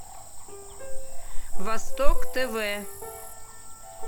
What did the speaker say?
восток тв